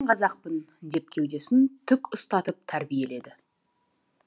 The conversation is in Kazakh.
мен қазақпын деп кеудесін тік ұстатып тәрбиеледі